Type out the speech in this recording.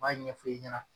U b'a ɲɛfɔ i ɲɛna